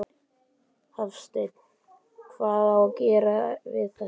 Hafsteinn: Hvað á að gera við þetta?